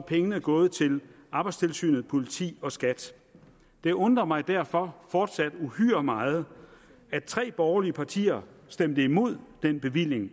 pengene gået til arbejdstilsynet politi og skat det undrer mig derfor fortsat uhyre meget at tre borgerlige partier stemte imod den bevilling